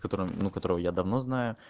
который ну которого я давно знаю